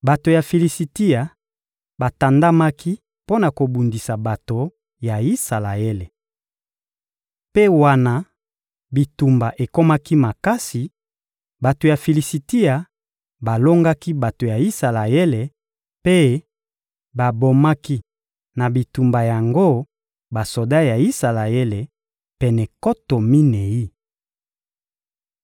Bato ya Filisitia batandamaki mpo na kobundisa bato ya Isalaele. Mpe wana bitumba ekomaki makasi, bato ya Filisitia balongaki bato ya Isalaele mpe babomaki na bitumba yango basoda ya Isalaele, pene nkoto minei.